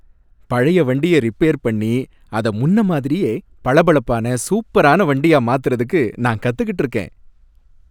பழைய வண்டிய ரிப்பேர் பண்ணி, அத முன்ன மாதிரியே பளபளப்பான சூப்பரான வண்டியா மாத்துறதுக்கு நான் காத்துக்கிட்டு இருக்கேன்.